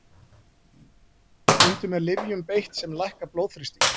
Stundum er lyfjum beitt sem lækka blóðþrýsting.